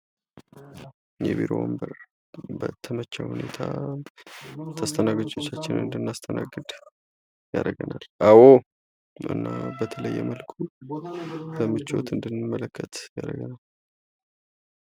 የቢሮ ወንበር በተመቸ ሁኔታ ተስተናጋጆችን እንድናስተናግድ ያደርገናል እና በተለዬ መልኩ በምቾት እንድንመለከት ያደርገናል።